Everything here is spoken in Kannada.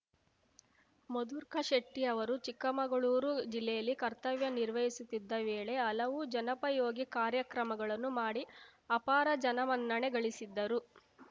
ಮಧುರ್ಕ ಶೆಟ್ಟಿಅವರು ಚಿಕ್ಕಮಗಳೂರು ಜಿಲ್ಲೆಯಲ್ಲಿ ಕರ್ತವ್ಯ ನಿರ್ವಹಿಸುತ್ತಿದ್ದ ವೇಳೆ ಹಲವು ಜನಪಯೋಗಿ ಕಾರ್ಯ ಕ್ರಮಗಳನ್ನು ಮಾಡಿ ಅಪಾರ ಜನಮನ್ನಣೆ ಗಳಿಸಿದ್ದರು